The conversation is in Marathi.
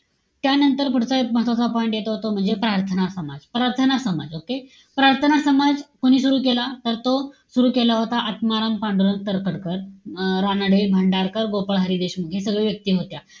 त्यानंतर पुढचा एक महत्वाचा point येतो तो म्हणजे, प्रार्थना समाज. प्रार्थना समाज okay? प्रार्थना समाज कोणी सुरु केला? तर तो सुरु केला होता आत्माराम पांडुरंग तर्खडकर. अं रानडे, भांडारकर, गोपाळ हरी देशमुख हे सगळे व्यक्ती होत्या.